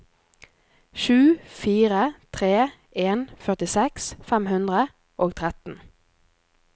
sju fire tre en førtiseks fem hundre og tretten